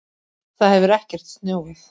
Það hefur ekkert snjóað